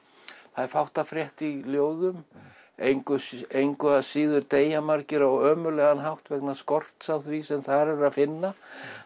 það er fátt að frétta í ljóðum engu engu að síður deyja margir á ömurlegan hátt vegna skorts á því sem þar er að finna